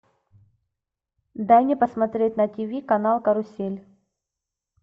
дай мне посмотреть на тв канал карусель